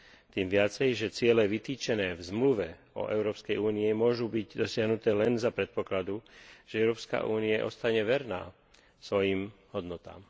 Tým viacej, že ciele vytýčené v Zmluve o Európskej únii môžu byť dosiahnuté len za predpokladu, že Európska únia ostane verná svojim hodnotám.